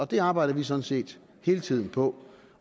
det arbejder vi sådan set hele tiden på